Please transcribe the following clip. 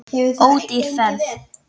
Ódýr ferð.